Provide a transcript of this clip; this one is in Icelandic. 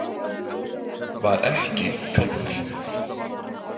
Var ekki kálfur.